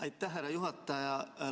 Aitäh, härra juhataja!